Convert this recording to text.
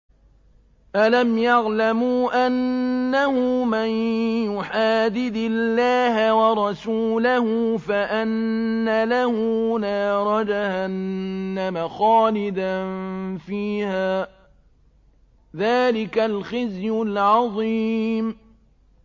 أَلَمْ يَعْلَمُوا أَنَّهُ مَن يُحَادِدِ اللَّهَ وَرَسُولَهُ فَأَنَّ لَهُ نَارَ جَهَنَّمَ خَالِدًا فِيهَا ۚ ذَٰلِكَ الْخِزْيُ الْعَظِيمُ